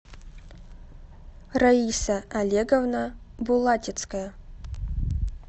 раиса олеговна булатецкая